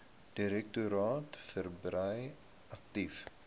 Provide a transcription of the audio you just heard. direktoraat verbrei aktief